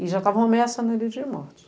E já estavam ameaçando ele de morte.